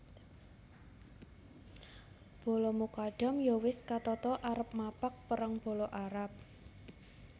Bala Mukadam ya wis katata arep mapag perang bala Arab